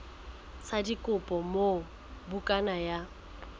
sa dikopo moo bukana ya